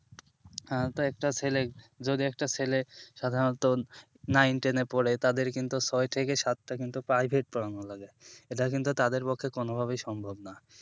হ্যাঁ তো একটা ছেলে যদি একটা ছেলে সাধারণত নাইন টেন এ পড়ে তাদের কিন্তু ছয় থেকে সাত টা কিন্তু প্রাইভেট পড়ানো লাগে এটা কিন্তু তাদের কাছে কোনো ভাবে সম্ভব না